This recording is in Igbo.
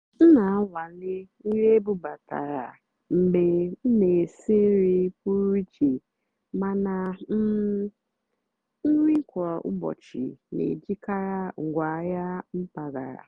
m nà-ànwàlé nrì ébúbátàrá mgbe m nà-èsì nrì pụ́rụ́ íché màná um nrì kwá ụ́bọ̀chị́ nà-èjìkarị́ ngwáàhịá mpàgàrà.